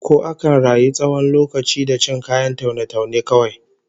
Ko akan rayu tsawon lokaci da cin kayan taune-taune kawai?